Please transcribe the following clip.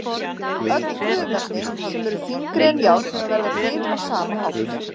Öll frumefni sem eru þyngri en járn verða til á sama hátt.